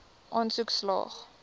aansoek slaag